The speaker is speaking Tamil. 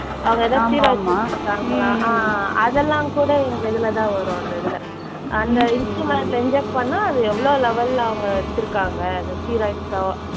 அவங்க ஏதாவது steroids எடுத்திருக்காங்களா. ஆஹ் அதெல்லாம் கூட எங்க இதுல தான் வரும் அந்த இதுல. அந்த instrument ல inject பண்ணா அது எவ்ளோ level ல அவங்க எடுத்திருக்காங்க அந்த steroids ஓ